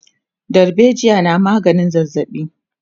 dalbejiya na maganin zazzabi